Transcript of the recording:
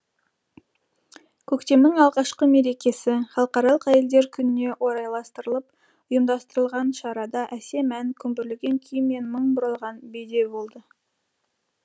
көктемнің алғашқы мерекесі халықаралық әйелдер күніне орайластырылып ұйымдастырылған шарада әсем ән күмбірлеген күй мен мың бұралған би де болды